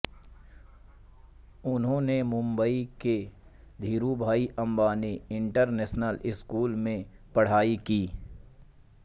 उन्होंने मुंबई के Dhirubhai Ambani international school में पढ़ाई की